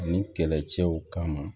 Ani kɛlɛcɛw kama